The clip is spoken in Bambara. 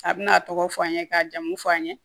A bɛna a tɔgɔ fɔ an ye k'a jamu fɔ an ye